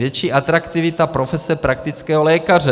Větší atraktivita profese praktického lékaře.